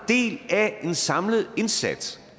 del af en samlet indsats